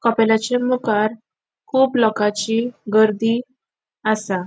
कोपेलाचे मुखार कुब लोकांची गर्दी आसा.